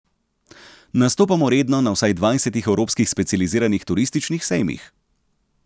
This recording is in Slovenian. Nastopamo redno na vsaj dvajsetih evropskih specializiranih turističnih sejmih.